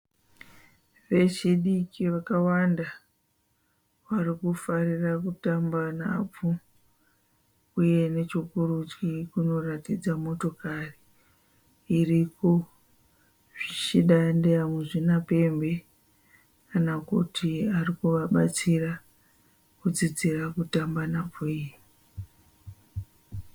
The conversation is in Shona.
Vechidiki vakawanda varikufarira kutamba nhabvu uye nechokurudyi kunoratidza motokari iriko, zvichida ndeya muzvinapembe kana kuti arikuvabatsira kudzidzira kutamba nhabvu iyi.